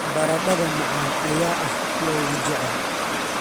Baradhada macaan ayaa ah kuwa ugu jecel.